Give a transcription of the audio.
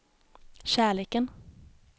kärleken